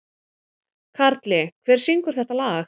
Karli, hver syngur þetta lag?